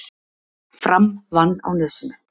Fram vann á Nesinu